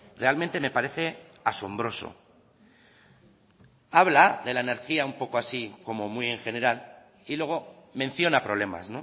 realmente me parece asombroso habla de la energía un poco así como muy en general y luego menciona problemas